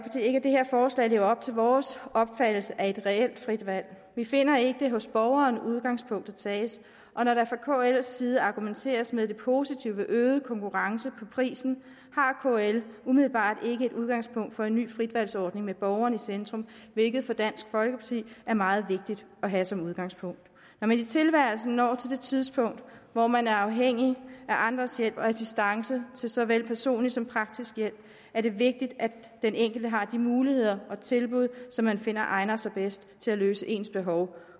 ikke at det her forslag lever op til vores opfattelse af et reelt frit valg vi finder ikke at det er hos borgeren udgangspunktet tages og når der fra kls side argumenteres med det positive ved øget konkurrence på prisen har kl umiddelbart ikke et udgangspunkt for en ny fritvalgsordning med borgeren i centrum hvilket for dansk folkeparti er meget vigtigt at have som udgangspunkt når man i tilværelsen når til det tidspunkt hvor man er afhængig af andres hjælp og assistance til såvel personlig som praktisk hjælp er det vigtigt at den enkelte har de muligheder og tilbud som man finder egner sig bedst til at løse ens behov